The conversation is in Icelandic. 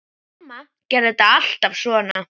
Mamma gerði þetta alltaf svona.